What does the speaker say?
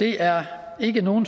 det er ikke nogen